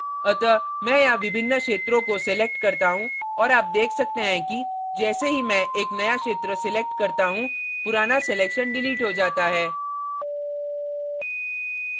अतः मैं यहाँ विभिन्न क्षेत्रों को select करता हूँ और आप देख सकते हैं कि जैसे ही मैं एक नया क्षेत्र select करता हूँ पुराना selection डिलीट हो जाता है